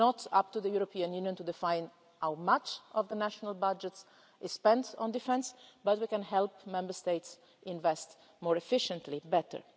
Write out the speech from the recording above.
It is not up to the European Union to define how much of the national budget is spent on defence, but we can help Member States invest more efficiently and better.